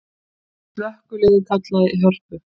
Slökkviliðið kallað í Hörpu